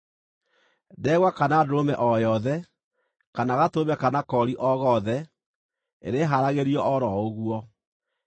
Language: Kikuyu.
Ndegwa kana ndũrũme o yothe, kana gatũrũme kana koori o gothe, irĩhaaragĩrio o ro ũguo.